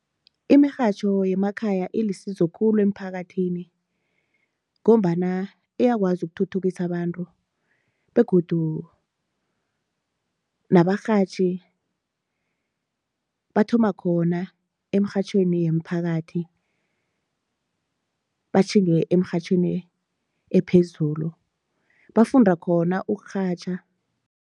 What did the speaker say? Imirhatjho yemakhaya ilisizo khulu eemphakathini ngombana iyakwazi ukuthuthukisa abantu begodu nabarhatjhi bathoma khona emrhatjhweni yeemphakathi batjhinge eemrhatjhweni ephezulu bafunda khona ukurhatjha.